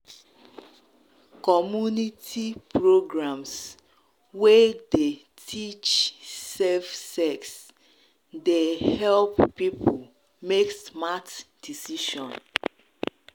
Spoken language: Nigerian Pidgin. community um programs wey dey um teach safe um sex dey help people make smart decision.